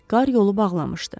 Qar yolu bağlamışdı.